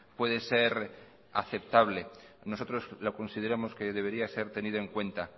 puede ser aceptable nosotros la consideramos que debería ser tenido en cuenta